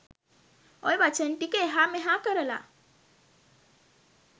ඔය වචන ටිකක් එහා මෙහා කරලා